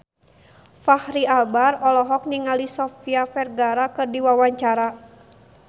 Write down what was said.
Fachri Albar olohok ningali Sofia Vergara keur diwawancara